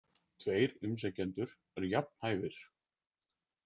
Tveir umsækjendur eru jafn hæfir.